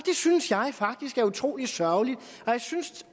synes jeg faktisk er utrolig sørgeligt og jeg synes